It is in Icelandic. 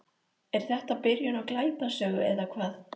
Er þetta byrjun á glæpasögu eða hvað?